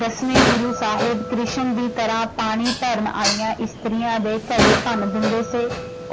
ਦਸਵੇਂ ਗੁਰੂ ਸਾਹਿਬ ਕ੍ਰਿਸ਼ਨ ਦੀ ਤਰ੍ਹਾਂ ਪਾਣੀ ਭਰਨ ਆਈਆਂ ਇਸਤਰੀਆਂ ਦੇ ਘੜੇ ਭੰਨ ਦਿੰਦੇ ਸੀ,